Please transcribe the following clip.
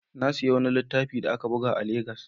Na sayi wani littafi da aka buga a Legas.